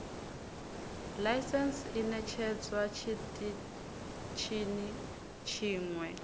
ḽaisentse i ṋetshedzwa tshiṱitshini tshiṅwe